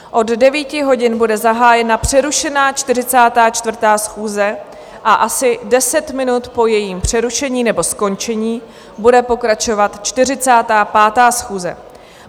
Od 9 hodin bude zahájena přerušená 44. schůze a asi deset minut po jejím přerušení nebo skončení bude pokračovat 45. schůze.